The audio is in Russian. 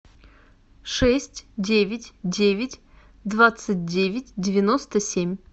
шесть девять девять двадцать девять девяносто семь